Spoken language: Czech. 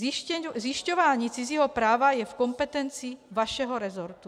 Zjišťování cizího práva je v kompetenci vašeho resortu.